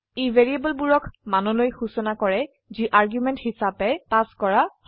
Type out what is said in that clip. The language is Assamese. ই ভ্যাৰিয়েবলবোৰক মানলৈ সুচনা কৰে যি আৰ্গুমেন্ট হিচাবে পাস কৰা হয়